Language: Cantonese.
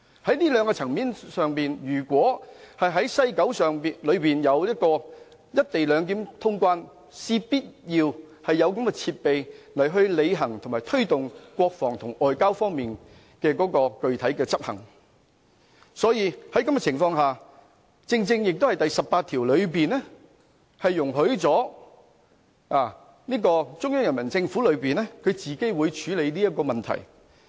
在這兩個層面上，如果在西九有"一地兩檢"通關，我們必須有這樣的設備，履行及推動國防及外交方面具體執行的工作，這亦正正見於《基本法》第十八條，當中的條文容許中央人民政府自行處理這個問題。